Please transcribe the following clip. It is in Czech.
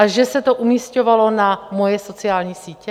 A že se to umísťovalo na moje sociální sítě?